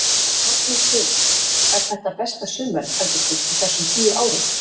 Magnús Hlynur: Er þetta besta sumarið heldur þú á þessum tíu árum?